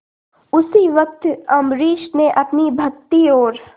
उसी वक्त अम्बरीश ने अपनी भक्ति और